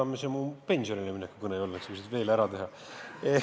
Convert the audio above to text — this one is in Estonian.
No ega see mu pensionile mineku kõne ei olnud, et sa küsid, mis mul veel ära tuleb teha.